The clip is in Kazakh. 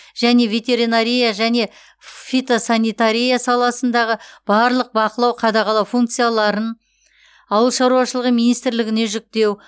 және ветеринария және фитосанитария саласындағы барлық бақылау қадағалау функцияларын ауыл шаруашылығы министрлігіне жүктеу